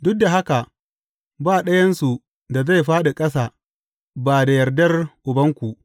Duk da haka ba ɗayansu da zai fāɗi ƙasa ba da yardar Ubanku.